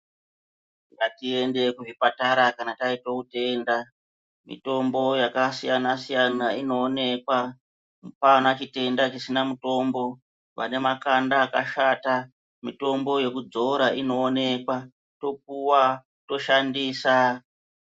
Ngatiende kuzvipatara kana taite utenda mitombo yakasiyana siyana inoonekwa apana chitenda chisina mutombo vane makanda akashanda mutombo yekudzora inooneka topuwa toshandisa.